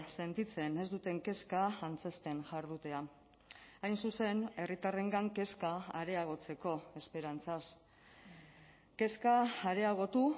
sentitzen ez duten kezka antzezten jardutea hain zuzen herritarrengan kezka areagotzeko esperantzaz kezka areagotu